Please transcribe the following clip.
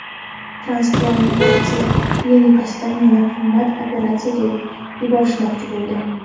Transplantatsiya klinikasida meni qimmat operatsiyaga yuborishmoqchi bo‘ldi.